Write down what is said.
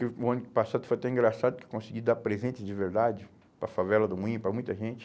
que o ano passado foi até engraçado que eu consegui dar presente de verdade para a favela do Moinho, para muita gente.